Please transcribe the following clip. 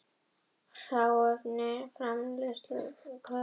Hráefni og framleiðsluferli